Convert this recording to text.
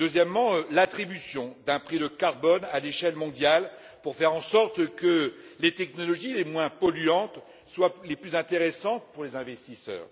Autre proposition l'attribution d'un prix de carbone à l'échelle mondiale pour faire en sorte que les technologies les moins polluantes soient les plus intéressantes pour les investisseurs.